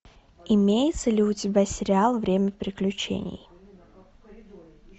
имеется ли у тебя сериал время приключений